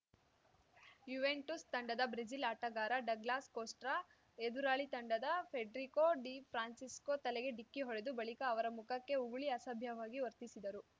Juventus ತಂಡದ Brazil ಆಟಗಾರ Douglas Costa ಎದುರಾಳಿ ತಂಡದ ಫೆಡ್ರಿಕೋ ಡಿ ಫ್ರಾನ್ಸಿಸ್ಕೊ ತಲೆಗೆ ಡಿಕ್ಕಿ ಹೊಡೆದು ಬಳಿಕ ಅವರ ಮುಖಕ್ಕೆ ಉಗುಳಿ ಅಸಭ್ಯವಾಗಿ ವರ್ತಿಸಿದರು